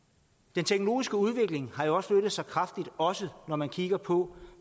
den teknologiske udvikling har jo også flyttet sig drastisk også når man kigger på